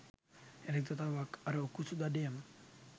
යළිත් වතාවක් අර උකුසු දඩයම